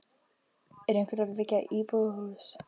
Er einhver að byggja íbúðarhús?